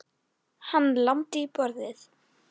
Hvað ertu að hugsa, Nikki?